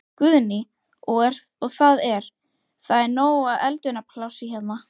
Guðný: Og það er, það er nóg af eldunarplássi hérna?